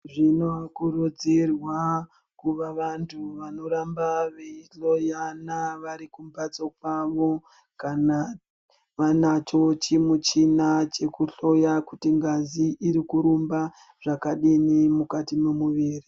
Zvinokurudzirwa kuvavantu vanoramba veihloyana varikumbatso kwavo kana vanacho chimuchina chekuhloya kuti ngazi irikurumba zvakadinin mukati memuviri.